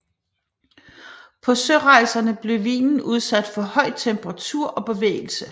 På sørejserne blev vinen udsat for høj temperatur og bevægelse